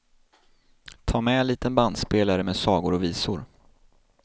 Tag med liten bandspelare med sagor och visor.